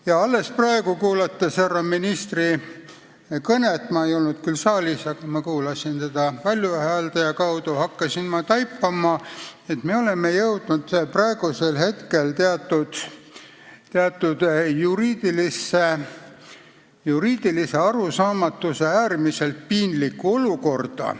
Ja alles praegu, kuulates härra ministri kõnet – ma ei olnud küll saalis, aga ma kuulasin teda valjuhääldaja kaudu –, hakkasin ma taipama, et me oleme jõudnud teatud juriidilise arusaamatuse äärmiselt piinlikku olukorda.